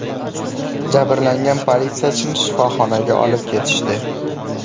Jabrlangan politsiyachini shifoxonaga olib ketishdi.